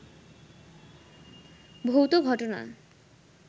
ভৌত ঘটনা